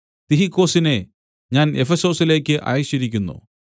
തിഹിക്കൊസിനെ ഞാൻ എഫെസൊസിലേക്ക് അയച്ചിരിക്കുന്നു